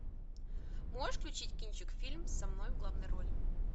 можешь включить кинчик фильм со мной в главной роли